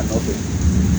A labɛn